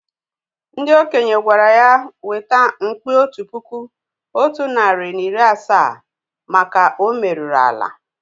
Ndị okenye gwara ya weta mkpi otu puku otu narị na iri asaa maka o merụrụ ala